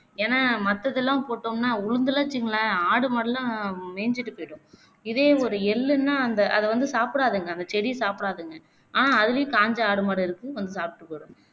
ஏனா மத்ததுலாம் போட்டோம்னா உழுந்துலாம் வச்சுக்கோங்களேன் ஆடு மாடுலாம் மேஞ்சுட்டு போயிடும் இதே ஒரு எள்ளுன்னா அந்த அத வந்து சாப்பிடாதுங்க அந்த செடிய சாப்பிடாதுங்க ஆனா அதுலேயும் காஞ்ச ஆடு, மாடு இருக்கும் வந்து சாப்பிட்டு போயிடும்